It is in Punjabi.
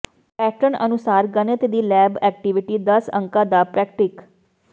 ਪੈਟਰਨ ਅਨੁਸਾਰ ਗਣਿਤ ਦੀ ਲੈਬ ਐਕਟਿਵਿਟੀ ਦਸ ਅੰਕਾਂ ਦਾ ਪ੍ਰਰੈਕਟੀਕ